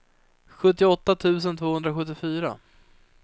sjuttioåtta tusen tvåhundrasjuttiofyra